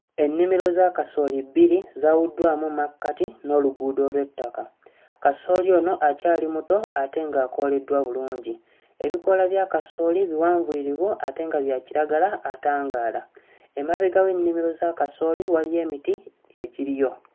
Ennimiro za kasooli bbiri zaawuddwamu mmakkati n'oluguudo olw'ettaka. Kasooli ono akyali muto ate ng'akooleddwa bulungi. Ebikoola bya kasooli biwanvuyirivu ate nga bya kiragala atangaala. Emabega wa kasooli waliyo emiti egiriyo.